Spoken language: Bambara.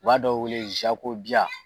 U b'a dɔ wele